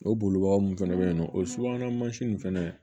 O bolibaga mun fɛnɛ be yen nɔ o subahana mansin fɛnɛ